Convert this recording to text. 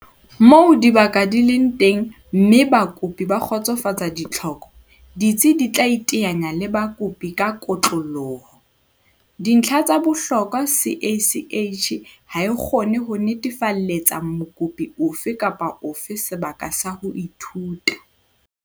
Moo dibaka di leng teng mme bakopi ba kgotsofatsa ditlhoko, ditsi di tla iteanya le bakopi ka kotloloho. Dintlha tsa bohlokwa CACH ha e kgone ho netefalletsa mokopi ofe kapa ofe sebaka sa ho ithuta.